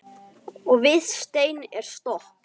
Og við stein er stopp.